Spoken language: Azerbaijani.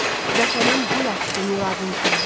Vətənin gül açdı Muradın kimi.